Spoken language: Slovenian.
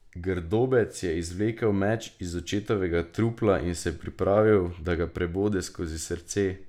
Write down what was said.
Grdobec je izvlekel meč iz očetovega trupla in se pripravil, da ga prebode skozi srce.